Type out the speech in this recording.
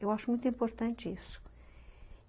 Eu acho muito importante isso.